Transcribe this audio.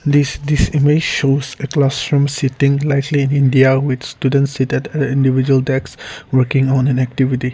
this this image shows at last time sitting likely India with students seated individual desk working on an activity.